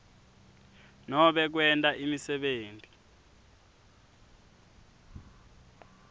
nobe kwenta imisebenti